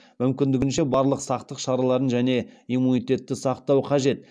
мүмкіндігінше барлық сақтық шараларын және иммунитетті сақтау қажет